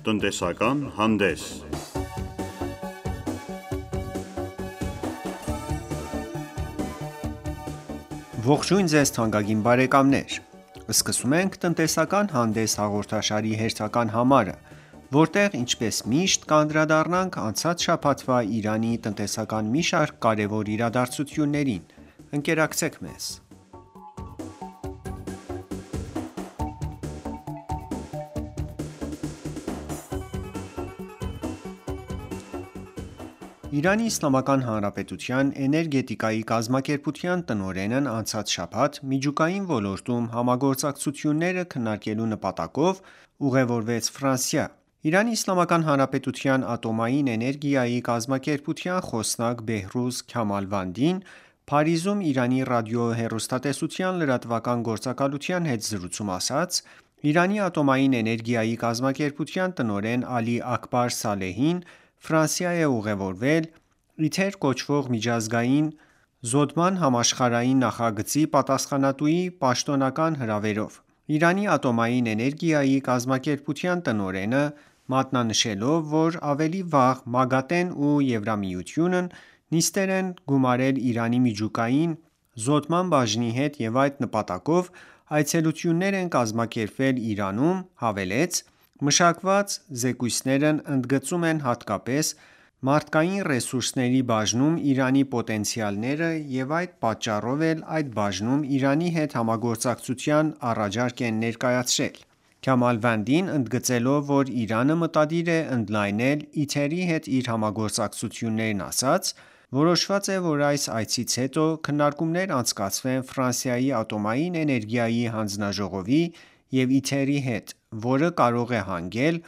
Տնտեսական հանդես Ողջույն Ձեզ թանկագին բարեկամներ: Ներկայացնում ենք «Տնտեսական հանդես» հաղորդաշարի հերթական համարը, որտեղ ինչպես միշտ կանդրադառնանք անցած շաբաթվա Իրանի տնտեսական մի շարք կարևոր իրադարձություններին: Ընկերակցեք մեզ: ԻԻՀ-ի էներգետիկայի կազմակերպության տնօրենն անցած շաբաթ միջուկային ոլորտում համագործակցությունները քննարկելու նպատակով ուղևորվեց Ֆրանսիա: ԻԻՀ ատոմային էներգետիկայի կազմակերպության խոսնակ Բեհրուզ Քյամալվանդին Փարիզում Իրանի Ռադիո-հեռուստատեսության լրատվական գործակալության հետ զրույցում ասաց. «Իրանի ատոմային էներգետիկայի կազմակերպության տնօրեն Ալի Աքբար Սալեհին Ֆրանսիա է ուղևորվել «Իթեր» կոչվող միջուկային զոդման համաշխարհային նախագծի պատասխանատուի պաշտոնական հրավերով»: Իրանի ատոմային էներգետիկայի կազմակերպության տնօրենը մատնանշելով, որ ավելի վաղ ՄԱԳԱՏԷ-ն և ԵՄ-ն նիստեր են գումարել Իրանի միջուկային զոդման բաժնի հետ և այդ նպատակով այցելություններ են կազմակերպվել Իրանում, հավելեց. «Մշակված զեկույցներն ընդգծում են հատկապես մարդկային ռեսուրսների բաժնում Իրանի պոտենցիալները և այդ պատճառով էլ այդ բաժնում Իրանի հետ համագործակցության առաջարկ են ներկայացրել»: Քյամալվանդին ընդգծելով, որ Իրանը մտադիր է ընդլայնել «Իթեր»-ի հետ իր համագործակցություններն, ասաց. «Որոշված է, որ այս այցից հետո քննարկումներ անցկացվեն Ֆրանսիայի ատոմային էներգիայի հանձնաժողովի և «Իթեր»-ի հետ, որը կարող է հանգել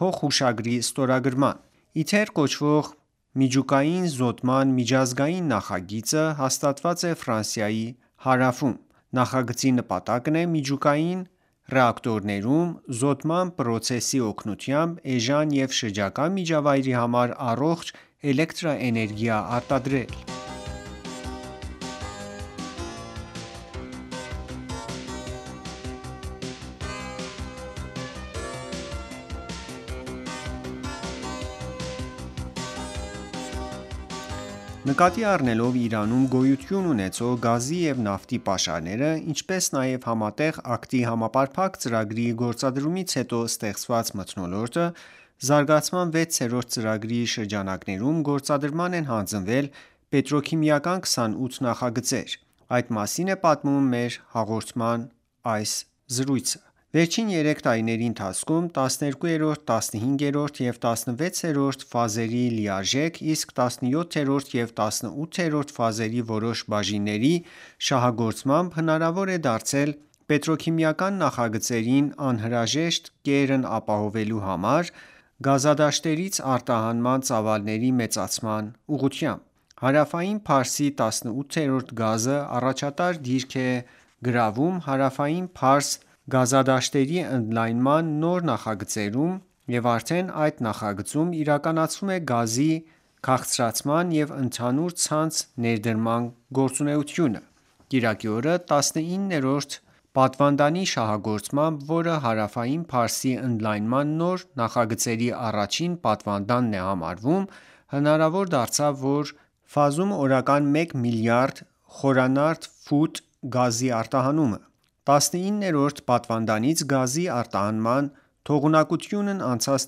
փոխհուշագրի ստորագրման»: «Իթեր» կոչվող միջուկային զոդման միջազգային նախագիծը հաստատված է Ֆրանսիայի հարավում: Նախագծի նպատակն է միջուկային ռեակտորներում զոդման պրոցեսի օգնությամբ էժան և շրջակա միջավայրի համար առողջ էլեկտրաէներգիա արտադրել: Նկատի առնելով Իրանում գոյություն ունեցող գազի և ածխաջրայինների պաշարները, ինչպես նաև Համատեղ քայլերի համապարփակ ծրագրի գործադրումից հետո ստեղծված մթնոլորտը զարգացման 6-րդ ծրագրի շրջանակներում գործադրման են հանձնվել պետրոքիմիական 28 նոր նախագծեր: Այդ մասին է պատմում մեր հաղորդման հաջորդ զրույցը: Վերջին երեք տարիների ընթացքում 12-րդ, 15-րդ և 16-րդ ֆազերի լիարժեք, իսկ 17-րդ և 18-րդ ֆազերի որոշ բաժինների շահագործմամբ հնարավոր է դարձել պետրոքիմիական նախագծերին անհրաժեշտ կերն ապահովելու համար գազի հանքավայրերից արտահանման ծավալների մեծացման համար: Հարավային Փարսի 19-րդ ֆազը առաջատար դիրք է գրավում Հարավային Փարս գազային հանքավայրերի ընդլյանման նոր նախագծերում և արդեն այդ նախագծում իրականացվում է գազի քաղցրացման ու ընդհանուր ցանցի ներարկման գործողությունը: Կիրակի օրը 19-րդ պատվանդանի շահագործմամբ, որը Հարավային Փարսի ընդլայնման նոր նախագծերի առաջին պատվանդանն է համարվում հնարավոր դարձավ այդ ֆազում օրական մեկ միլիարդ խորանարդ ֆուտ գազի արտահանումը: 19-րդ պատվանդանից գազի արտահանման թողունակությունն անցած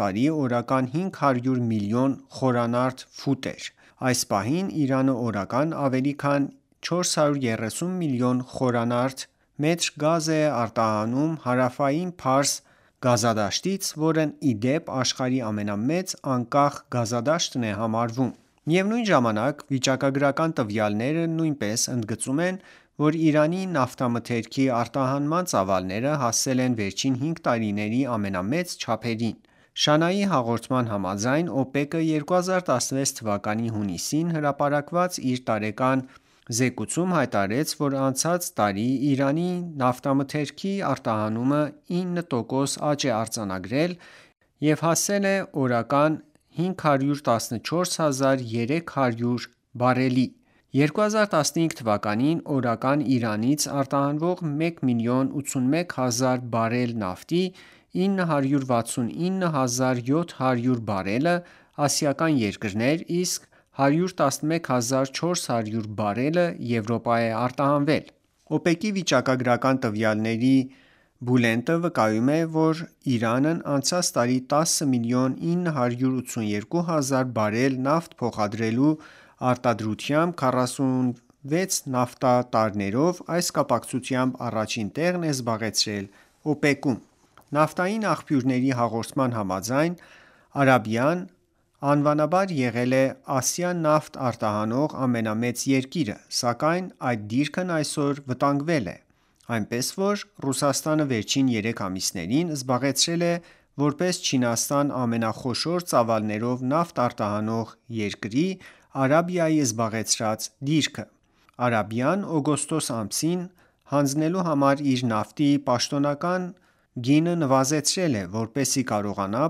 տարի օրական 500 միլիոն խորանարդ ֆուտ էր: Այս պահին Իրանը օրական ավելի քան 430 միլիոն խմ գազ է արտահանում Հարավային Փարս հանքավայրից, որն ի դեպ աշխարհի ամենամեծ անկախ հանքավայրն է համարվում: Միևնույն ժամանակ վիճակագրական տվյալները նույնպես ընդգծում են, որ Իրանի նավթամթերքի արտահանման ծավալները հասել են վերջին հինգ տարիների ամենամեծ չափերին: ՇԱՆԱ-ի հաղորդման համաձայն, ՕՊԵԿ-ը 2016 թվականի հունիսին հրապարակած իր տարեկան բուլտենում հայտարարեց, որ անցած տարի Իրանի նավթամթերքի արտահանումը 9.4 տոկոս աճ արձանագրելով հասավ օրական 514 հազար 300 բարելի: 2015 թվականին օրական Իրանից արտահանվող մեկ միլիոն 81 հազար բարել նավթ 969 հազար 700 բարելը ասիական երկրներ, իսկ 111 հազար 400 բարելը Եվրոպա է արտահանվել: ՕՊԵԿ-ի վիճակագրական տվյալների բուլտենը վկայում է, որ Իրանն անցած տարի 10 միլիոն 982 հազար բարել նավթ փոխադրելու տարողությամբ 46 նավթատարներով այդ կապակցությամբ առաջին տեղն է զբաղեցրել ՕՊԵԿ-ում: Նավթային աղբյուրների հաղորդման համաձայն Արաբիան ավանդաբար եղել է անմշակ նավթ Ասիա արտահանող ամենամեծ երկիրը, սակայն այդ դիրքն այսօր վտանգվել է: Այնպես որ Ռուսաստանը վերջին երեք ամիսներին զբաղեցրել է որպես Չինաստանի ամենախոշոր ծավալներով նավթ արտահանող երկրի՝ Արաբիայի զբաղեցրած դիրքը: Արաբիան օգոստոս ամսին հանձնելու համար իր նավթի պաշտոնական գինը նվազեցրել է, որպեսզի կարողանա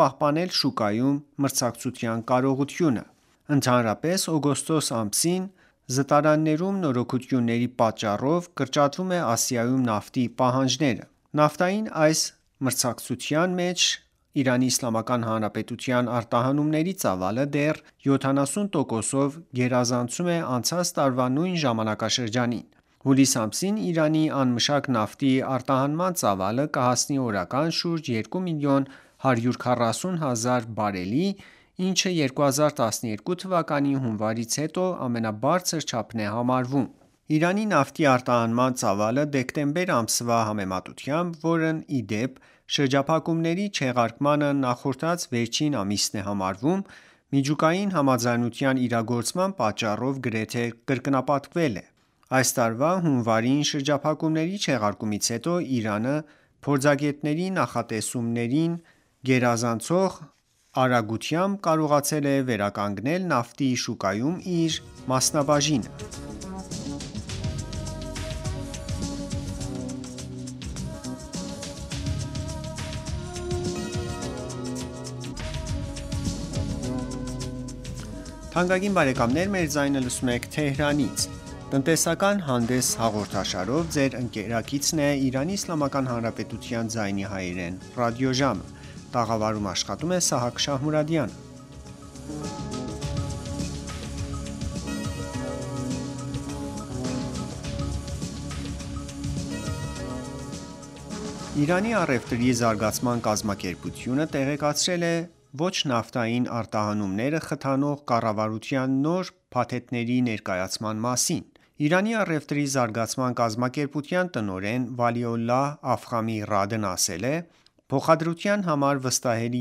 պահպանել շուկայում մրցակցության կարողությունը: Ընդհանրապես օգոստոս ամսին զտարաններում նորոգությունների պատճառով կրճատվում է Ասիայում նավթի պահանջարկը: Նավթային այս մրցակցության մեջ ԻԻՀ-ի արտահանումների ծավալը դեռ 70 տոկոսով գերազանցում է անցած տարվա նույն ժամանակաշրջանին: Հուլիս ամսին Իրանի անմշակ նավթի արտահանման ծավալը կհասնի օրական շուրջ երկու միլիոն 140 հազար բարելի, ինչը 2012 թվականի հունվարից հետո ամենաբարձր չափն է համարվում: Իրանի նավթի արտահանման ծավալը դեկտեմբեր ամսվա համեմատությամբ, որն ի դեպ շրջափակումների չեղարկմանը նախորդած վերջին ամիսն է համարվում, միջուկային համաձայնության իրագործման պատճառով գրեթե կրկնապատկվել է: Այս տարվա հունվարին շրջափակումների չեղարկումից հետո Իրանը փորձագետների կանխաատեսումներին գերազանցող արագությամբ կարողացել է վերականգնել նավթի շուկայում իր մասնաբաժինը: Իրանի առևտրի զարգացման կազմակերպությունը տեղեկացրել է ոչ-նավթային արտահանումները խթանող կառավարության նոր փաթեթների ներկայացման մասին: Իրանի առևտրի զարգացման կազմակերպության տնօրեն Վալիոլլահ Աֆխամի Ռադն ասել է. «Փոխադրության համար վստահելի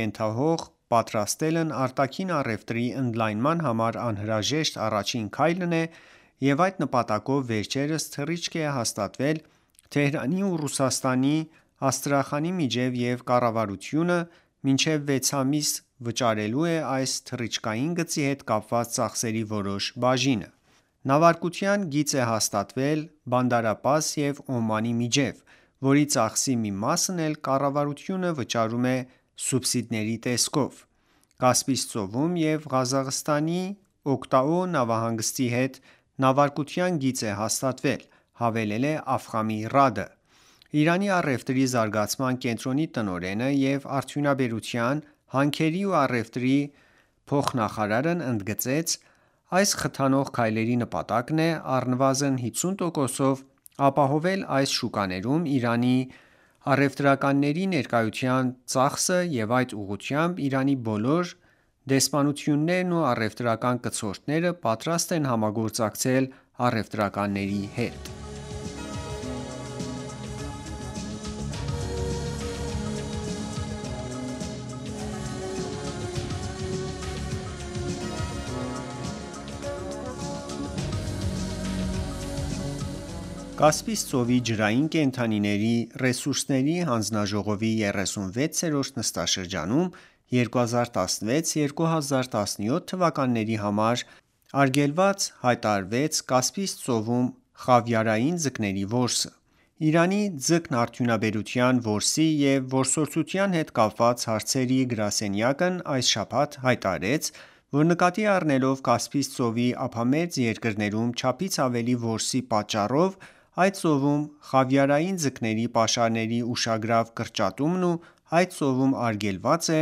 ենթահող պատրաստելն արտաքին առևտրի ընդլայնման համար անհրաժեշտ առաջին քայլն է և այդ նպատակով վերջերս թռիչք է հաստատվել Թեհրանի ու Ռուսաստանի Աստրախանի միջև և կառավարությունը մինչև վեց ամիս վճարելու է այս թռիչքային գծի հետ կապված ծախսերի որոշ բաժինը»: «Նավարկության գիծ է հաստատվել Բանդար Աբբաս և Օմանի միջև, որի ծախսի մի մասն էլ կառավարությունը վճարում է սուբսիդների տեսքով: Կասպից ծովում էլ Ղազախստանի Ակտաու նավահանգստի հետ նավարկության գիծ է հաստատվել»,-հավելել է Աֆխամի Ռադը: Իրանի առևտրի զարգացման կենտրոնի տնօրենը և արդյունաբերության, հանքերի ու առևտրի փոխնախարարն ընդգծեց. «Այս խթանող քայլերի նպատակն է առնվազն 50 տոկոսով ապահովել այլ շուկաներում Իրանի առևտրականների ներկայության ծախսը և այդ ուղղությամբ Իրանի բոլոր դեսպանություններն ու առևտրական կցորդները պատրաստ են համագործակցել առևտրականների հետ»: Կասպից ծովի ջրային կենդանի ռեսուրսների հանձնաժողովի 36-րդ նստաշրջանում 2016-2017 թվականների համար արգելված հայտարարվեց Կասպից ծովում խավիարային ձկների որսը: Իրանի ձկնարդյունաբերության որսի ու որսորդության հետ կապված հարցեր գրասենյակն այս շաբաթ հայտարարեց, որ նկատի առնելով Կասպից ծովի ափամերձ երկրներում չափից ավելի որսի պատճառով այդ ծովում խավիարային ձկների պաշարների ուշագրավ կրճատումն այդ ծովում արգելված է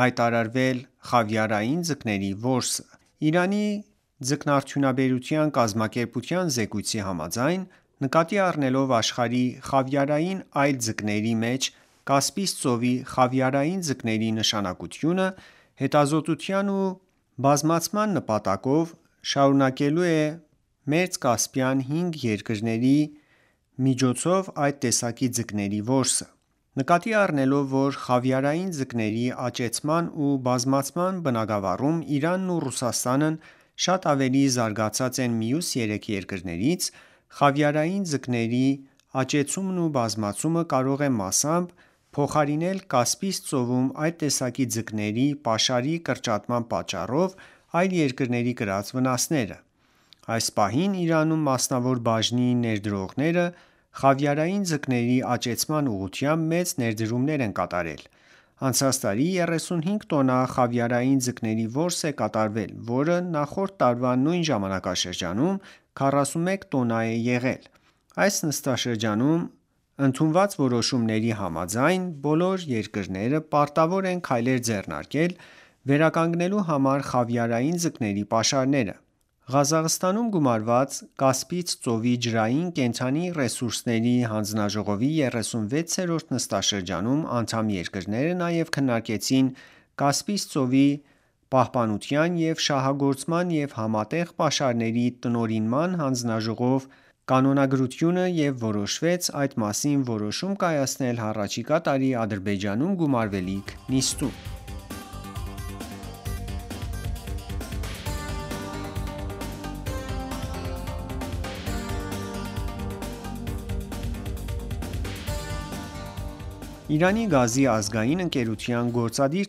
հայտարարվել խավիարային ձկների որսը: Իրանի ձկնարդյունաբերության կազմակերպության զեկույցի համաձայն նկատի առնելով աշխարհի խավիարային այլ ձկների մեջ Կասպից ծովի խավիարային ձկների նշանակությունը հետազոտության ու բազմացան նպատակով շարունակելու է մերձկասպյան հինգ երկրների միջոցով այդ տեսակի ձկների որսը: Նկատի առնելով, որ խավիարային ձկների աճեցման ու բազմացման բնագավառում Իրանն ու Ռուսաստանն շատ ավելի զարգացած են մյուս երեք երկրներից, խավիարային ձկների աճեցումն ու բազմացումը կարող է մասամբ փոխարինել Կասպից ծովում այդ տեսակի ձկների պաշարի կրճատման պատճառով այլ երկրների կրած վնասները: Այս պահին Իրանում մասնավոր բաժնի ներդրողները խավիարային ձկների աճեցման ուղղությամբ մեծ ներդրումներ են կատարել: Անցած տարի 35 տոննա խավիարային ձկների որս է կատարվել, որը նախորդ տարվա նույն ժամանակաշրջանում 41 տոննա է եղել: Այս նստաշրջանում ընդունված որոշումների համաձայն բոլոր երկրները պարտավոր են քայլեր ձեռնարկել վերականգնելու համար խավիարային ձկների պաշարները: Ղազախստանում գումարված Կասպից ծոցի ջրային կենդանի ռեսուրսների հանձնաժողովի 36-րդ նստաշրջանում անդամ երկրները նաև քննարկեցին Կասպից ծովի պահպանության ու շահագործման և համատեղ պաշարների տնօրինման հանձնաժողով կանոնագրությունը և որոշվեց այդ մասին որոշում կայացնել հառաջիկա տարի Ադրբեջանում գումարվելիք նիստում: Իրանի գազի ազգային ընկերության գործադիր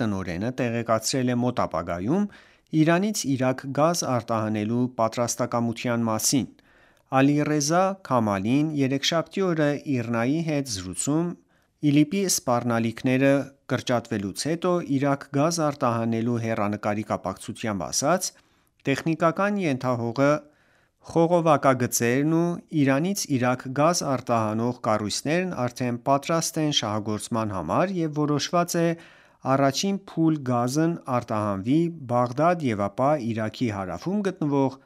տնօրենը տեղեկացրել է մոտ ապագայում Իրանից Իրաք գազ արտահանելու պատրաստակամության մասին: Ալիռեզա Քամելին երեքշաբթի օրը ԻՌՆԱ-ի հետ զրույցում ԻԼԻՊ-ի սպառնալիքները կրճատվելուց հետո Իրաք գազ արտահանելու հեռանկարների կապակցությամբ ասաց. «Տեխնիկական ենթահողերը, խողովակագծերն ու Իրանից Իրաք գազ արտահանող կառույցներն արդեն պատրաստ են շահագործման համար և որոշված է առաջին փուլ գազն արտահանվի Բաղդադ և ապա Իրաքի հարվում գտնվող